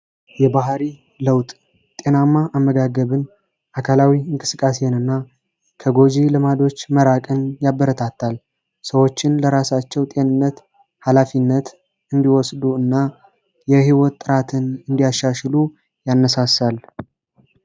የባህሪ ለውጥ ጤናማ አመጋገብን አካላዊ እንክስቃሴንና ከጎጂ ልማዶች መራቅን ያበረታታል ሰዎችን ለራሳቸው ጤንነት ኃላፊነት እንዲወስዱ እና የሕይወት ጥራትን እንዲያሻሽሉ ያነሳሳልደ